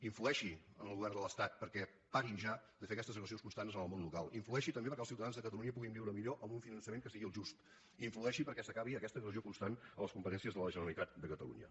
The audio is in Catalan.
influeixi en el govern de l’estat perquè parin ja de fer aquestes agressions constants al món local influeixi també perquè els ciutadans de catalunya puguin viure millor amb un finançament que sigui el just influeixi perquè s’acabi aquesta agressió constant a les competències de la generalitat de catalunya